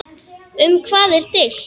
Um hvað er deilt?